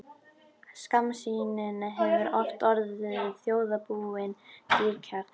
Skammsýnin hefur oft orðið þjóðarbúinu dýrkeypt.